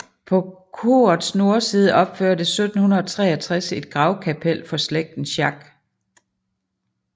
På korets nordside opførtes 1763 et gravkapel for slægten Schack